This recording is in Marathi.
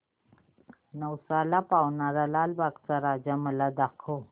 नवसाला पावणारा लालबागचा राजा मला दाखव